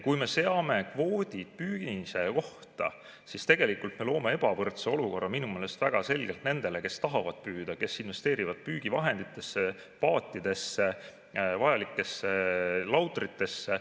Kui me seame kvoodid püünise kohta, siis me loome ebavõrdse olukorra minu meelest väga selgelt nendele, kes tahavad püüda, kes investeerivad püügivahenditesse, paatidesse, vajalikesse lautritesse.